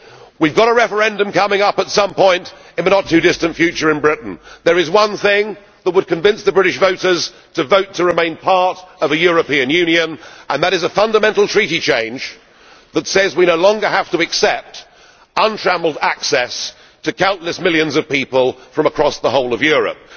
We have a referendum coming up at some point in the not too distant future in Britain. There is one thing that would convince the British voters to vote to remain part of a European Union and that is a fundamental Treaty change that says we no longer have to accept untrammelled access for countless millions of people from across the whole of Europe.